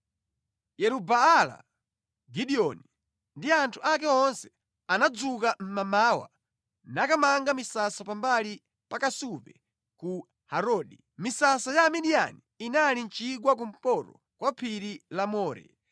Yeru-Baala (Gideoni) ndi anthu ake onse anadzuka mʼmamawa nakamanga misasa pambali pa kasupe ku Harodi. Misasa ya Amidiyani inali mʼchigwa kumpoto kwa phiri la More.